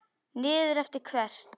Niður eftir hvert?